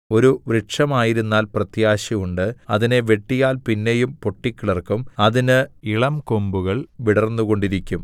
ഒരു വൃക്ഷമായിരുന്നാൽ പ്രത്യാശയുണ്ട് അതിനെ വെട്ടിയാൽ പിന്നെയും പൊട്ടിക്കിളിർക്കും അതിന് ഇളങ്കൊമ്പുകൾ വിടർന്നുകൊണ്ടിരിക്കും